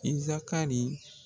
Iza ka nin